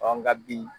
nka bi